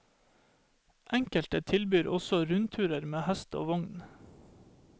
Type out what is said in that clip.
Enkelte tilbyr også rundturer med hest og vogn.